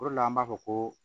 O de la an b'a fɔ ko